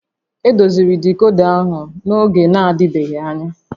Edoziri dicoda ahụ n'oge na-adịbeghị anya